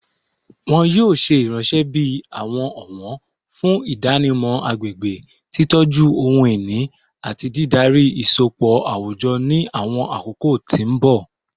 Wọn yoo ṣe iranṣẹ bi awọn ọwọn fun idanimọ agbegbe, titọju ohun-ini, ati didari isọpọ awujọ ni awọn akoko ti mbọ